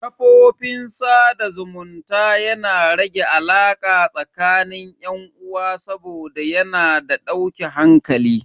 Kafofin sada zumunta yana rage alaka tsakanin yan uwa saboda yana da dauke hankali.